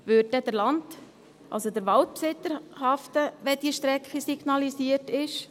Würde dann der Waldbesitzer haften, wenn diese Strecke signalisiert ist?